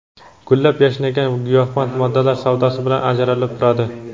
gullab-yashnagan giyohvand moddalar savdosi bilan ajralib turadi.